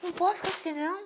Não posso ficar assim, não.